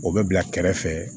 O bɛ bila kɛrɛfɛ